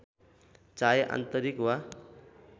चाहे आन्तरिक वा